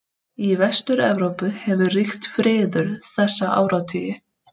Í Vestur-Evrópu hefur ríkt friður þessa áratugi.